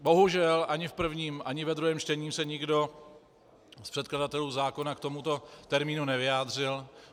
Bohužel ani v prvním ani ve druhém čtení se nikdo z předkladatelů zákona k tomuto termínu nevyjádřil.